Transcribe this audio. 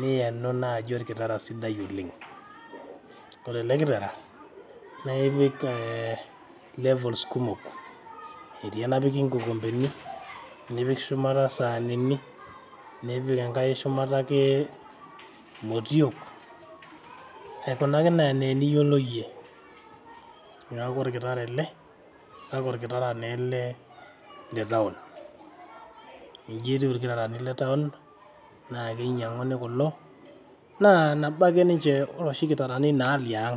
Niyenu naaji olkitara sidai oleng, ore ele kitara na ipik levels kumok. Etii enapiki inkikompeni nipik shumata isaanini nipik enkae shumata ake imotiok aikunaki enaa eniyiolo iyie. Niaku olkitara ele kake olkitara taa ele le town inji etiu ilkitarani le town naa kinyiang`uni kulo naa nabo ake ninche oloshi kitarani liang.